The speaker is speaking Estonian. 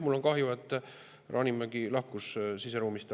Mul on kahju, et härra Hanimägi lahkus ruumist.